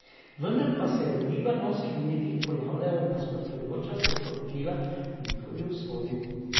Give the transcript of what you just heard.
Vendar pa se v libanonskih medijih pojavljajo nasprotujoča se poročila o njihovi usodi.